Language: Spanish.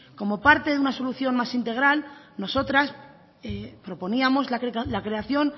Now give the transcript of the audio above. como parte de una solución más integral nosotras proponíamos la creación